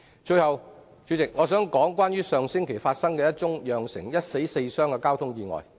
最後，我想說說上星期一宗釀成一死四傷的交通意外。